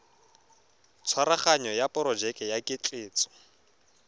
tshwaraganyo ya porojeke ya ketleetso